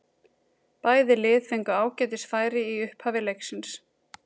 Bæði lið fengu ágætis færi í upphafi leiksins.